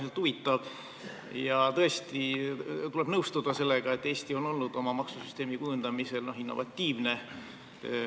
See oli äärmiselt huvitav ja tõesti tuleb nõustuda sellega, et Eesti on olnud oma maksusüsteemi kujundamisel innovatiivne.